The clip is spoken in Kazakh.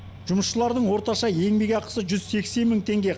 жұмысшылардың орташа еңбекақысы жүз сексен мың теңге